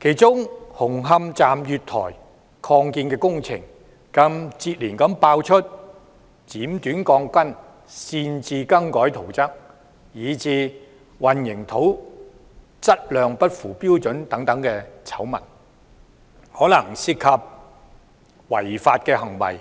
其中紅磡站月台擴建工程更接連爆出剪短鋼筋、擅自更改圖則，以至混凝土質量不符標準等醜聞，可能涉及違法行為